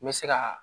N bɛ se ka